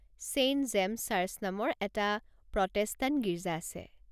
Saint James Church নামৰ এটা Protestant গীৰ্জা আছে।